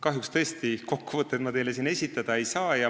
Kahjuks ma teile siin tõesti kokkuvõtteid esitada ei saa.